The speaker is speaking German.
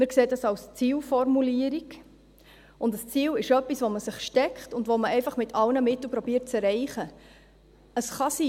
Wir sehen das als Zielformulierung, und ein Ziel ist etwas, das man sich steckt und das man einfach mit allen Mitteln zu erreichen versucht.